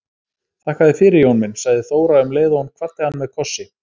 Þakka þér fyrir Jón minn, sagði Þóra um leið og hún kvaddi hann með kossi.